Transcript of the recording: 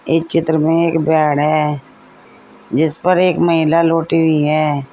इस चित्र में एक बेड है जिस पर एक महिला लौटी हुई है।